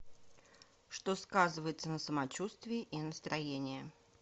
что сказывается на самочувствии и настроении